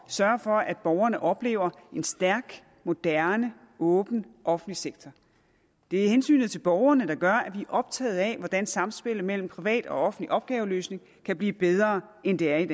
sørge for at borgerne oplever en stærk moderne åben offentlig sektor det er hensynet til borgerne der gør at optaget af hvordan samspillet mellem privat og offentlig opgaveløsning kan blive bedre end det er i